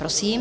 Prosím.